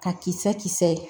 Ka kisɛ kisɛ